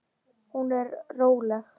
Hún er róleg.